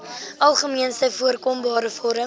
algemeenste voorkombare vorm